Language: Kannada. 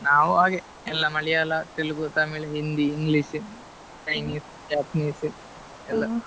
ನಾವು ಹಾಗೆ ಎಲ್ಲ Malayalam Telugu Tamil Hindi english, chineese, japanese ಎಲ್ಲ.